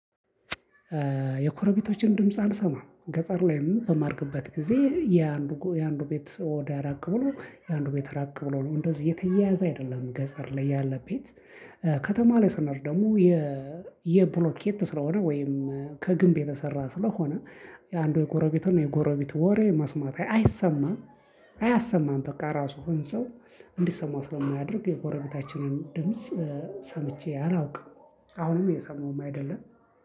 የጎረቤቶችን ድምጽ አልሰማም ገጠር ላይም በማድግበት ጊዜ የአንዱ የአንዱ ቤት ወዳ ራቅ ብሎ የአንድ ቤት ራቅ ብሎ ነው እንደዚህ የተያያዘ አይደለም ገጠር ላይ ያለ ቤት። ከተማ ላይ ሰኖር ደግሞ የ የብሎኬት ስለሆነ ወይም ከግንብ የተሰራ ስለሆነ የአንዱ የጎረቤቱን የጎረቤቱ ወሬ መስማት አይሰማም። አያሰማም በቃ ራሱ ህንፃው እንዲሰማው ስለማያደርግ የጎረቤታችንን ድምጽ ሰምቼ አላውቅም። አሁንም እየሰማውም አይደለም።